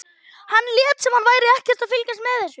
Hann lét sem hann væri ekkert að fylgjast með þessu.